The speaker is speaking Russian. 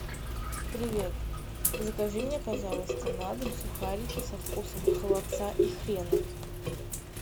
привет закажи мне пожалуйста на дом сухарики со вкусом холодца и хрена